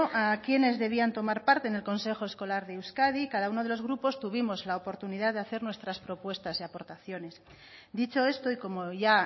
a quiénes debían tomar parte en el consejo escolar de euskadi y cada uno de los grupos tuvimos la oportunidad de hacer nuestras propuestas y aportaciones dicho esto y como ya